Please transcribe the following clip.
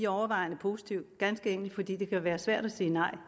overvejende positive ganske enkelt fordi det kan være svært at sige nej og